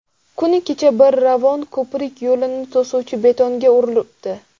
Kuni kecha bir Ravon ko‘prik yo‘lini to‘suvchi betonga urilibdi.